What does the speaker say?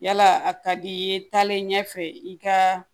Yala a ka di i ye taalen ɲɛfɛ i ka